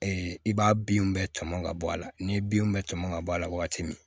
i b'a binw bɛ tɔmɔn ka bɔ a la ni binw bɛ tɔmɔn ŋa bɔ a la wagati min